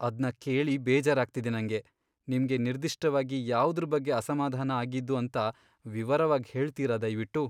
ಅದ್ನ ಕೇಳಿ ಬೇಜಾರಾಗ್ತಿದೆ ನಂಗೆ. ನಿಮ್ಗೆ ನಿರ್ದಿಷ್ಟವಾಗಿ ಯಾವುದ್ರ್ ಬಗ್ಗೆ ಅಸಮಾಧಾನ ಆಗಿದ್ದು ಅಂತ ವಿವರವಾಗ್ ಹೇಳ್ತೀರ ದಯ್ವಿಟ್ಟು?